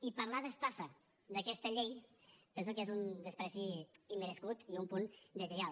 i parlar d’estafa d’aquesta llei penso que és un menyspreu immerescut i un punt deslleial